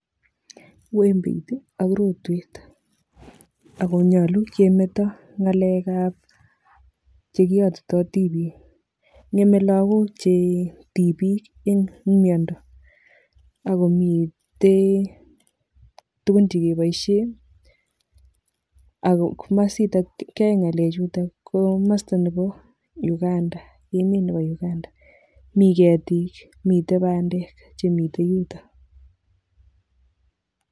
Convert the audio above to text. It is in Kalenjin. wembeit ii ak rotwet, ako nyalu kemeto ngalekab che kiyotitoi tipiik, ngemei lagok che tipiik eng miondo. Akomitei tugun che keboisie ako komasitak kyae ngalechutok ko masta nebo Uganda emet nebo Uganda, mi ketik mitei bandek chemitei yutok.